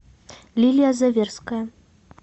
лилия заверская